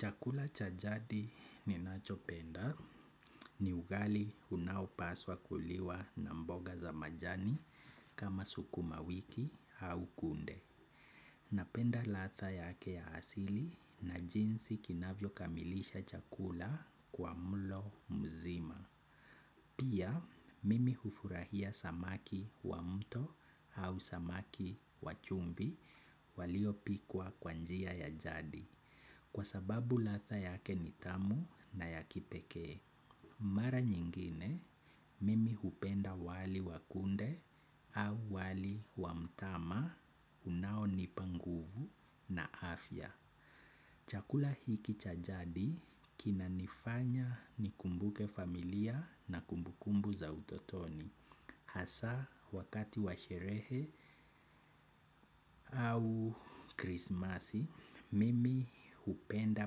Chakula cha jadi ninacho penda ni ugali unaopaswa kuliwa na mboga za majani kama sukuma wiki au kunde. Napenda latha yake ya asili na jinsi kinavyo kamilisha chakula kwa mlo mzima. Pia mimi hufurahia samaki wa mto au samaki wachumvi walio pikwa kwa njia ya jadi. Kwa sababu latha yake nitamu na yakipekee. Mara nyingine, mimi hupenda wali wakunde au wali wamtama unao nipa nguvu na afya. Chakula hiki chajadi kina nifanya nikumbuke familia na kumbukumbu za utotoni. Hasa wakati wa sherehe au krismasi, mimi upenda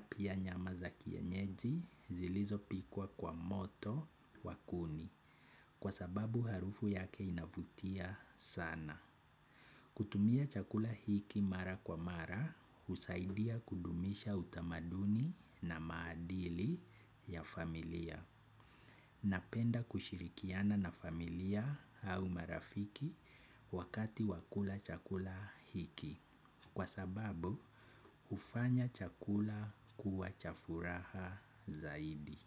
pia nyama za kienyeji zilizo pikwa kwa moto wa kuni kwa sababu harufu yake inavutia sana. Hutumia chakula hiki mara kwa mara husaidia kudumisha utamadunu na maadili ya familia. Napenda kushirikiana na familia au marafiki wakati wa kula chakula hiki kwa sababu ufanya chakula kuwa cha furaha zaidi.